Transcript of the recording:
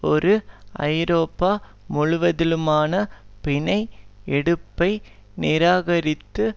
ஒரு ஐரோப்பா முழுவதிலுமான பிணை எடுப்பை நிராகரித்து